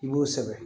I b'o sɛbɛn